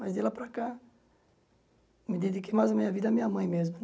Mas de lá para cá, me dediquei mais a minha vida à minha mãe mesmo.